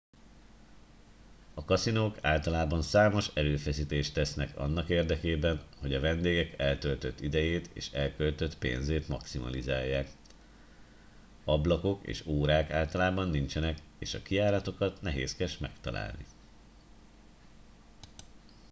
a kaszinók általában számos erőfeszítést tesznek annak érdekében hogy a vendégek eltöltött idejét és elköltött pénzét maximalizálják ablakok és órák általában nincsenek és a kijáratokat nehézkes megtalálni